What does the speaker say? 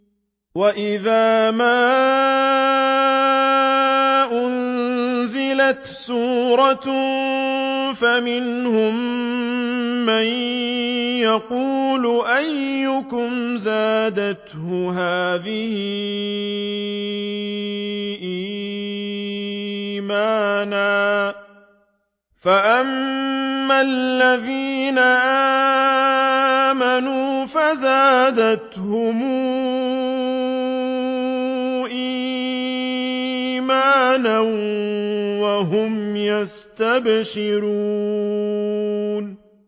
وَإِذَا مَا أُنزِلَتْ سُورَةٌ فَمِنْهُم مَّن يَقُولُ أَيُّكُمْ زَادَتْهُ هَٰذِهِ إِيمَانًا ۚ فَأَمَّا الَّذِينَ آمَنُوا فَزَادَتْهُمْ إِيمَانًا وَهُمْ يَسْتَبْشِرُونَ